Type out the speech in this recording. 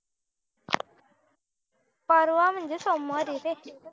पर्वा म्हणजे सोमवारी रे